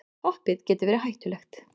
Hoppið getur verið hættulegt